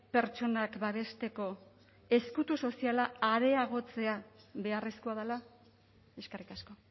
pertsonak babesteko ezkutu soziala areagotzea beharrezkoa dela eskerrik asko